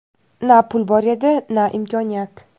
Na pul bor edi, na imkoniyat.